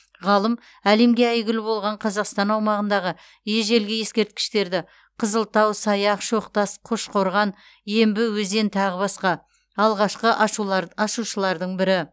ғалым әлемге әйгілі болған қазақстан аумағындағы ежелгі ескерткіштерді қызылтау саяқ шоқтас қошқорған ембі өзен тағы басқа алғашқы ашушылардың бірі